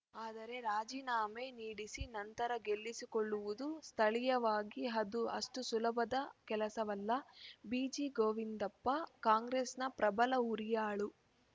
ಆದರೆ ರಾಜಿನಾಮೆ ನೀಡಿಸಿ ನಂತರ ಗೆಲ್ಲಿಸಿಕೊಳ್ಳುವುದು ಸ್ಥಳೀಯವಾಗಿ ಅದು ಅಷ್ಟುಸುಲಭದ ಕೆಲಸವಲ್ಲ ಬಿಜಿಗೋವಿಂದಪ್ಪ ಕಾಂಗ್ರೆಸ್‌ ನ ಪ್ರಬಲ ಹುರಿಯಾಳು